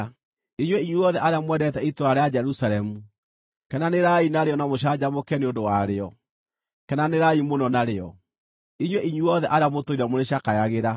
“Inyuĩ inyuothe arĩa mwendete itũũra rĩa Jerusalemu, kenanĩrai narĩo na mũcanjamũke nĩ ũndũ warĩo; kenanĩrai mũno narĩo, inyuĩ inyuothe arĩa mũtũire mũrĩcakayagĩra.